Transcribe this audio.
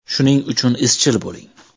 Shuning uchun izchil bo‘ling.